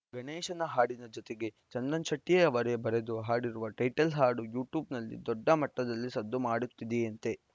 ಗಣೇಶನ ಹಾಡಿನ ಜತೆಗೆ ಚಂದನ್‌ ಶೆಟ್ಟಿಅವರೇ ಬರೆದು ಹಾಡಿರುವ ಟೈಟಲ್‌ ಹಾಡು ಯೂಟ್ಯೂಬ್‌ನಲ್ಲಿ ದೊಡ್ಡ ಮಟ್ಟದಲ್ಲಿ ಸದ್ದು ಮಾಡುತ್ತಿದೆಯಂತೆ